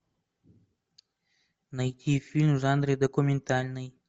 найти фильм в жанре документальный